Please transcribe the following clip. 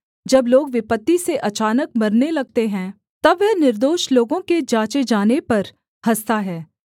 जब लोग विपत्ति से अचानक मरने लगते हैं तब वह निर्दोष लोगों के जाँचे जाने पर हँसता है